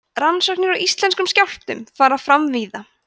rannsóknir á íslenskum skjálftum fara fram víða